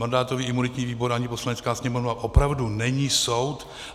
Mandátový imunitní výbor ani Poslanecká sněmovna opravdu není soud.